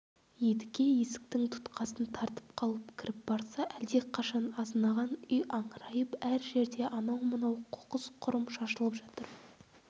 едіге есіктің тұтқасын тартып қалып кіріп барса әлдеқашан азынаған үй аңырайып әр жерде анау-мынау қоқыс-құрым шашылып жатыр